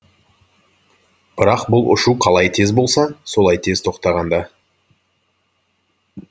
бірақ бұл ұшу қалай тез болса солай тез тоқтаған да